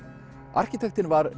arkitektinn var